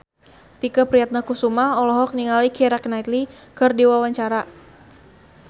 Tike Priatnakusuma olohok ningali Keira Knightley keur diwawancara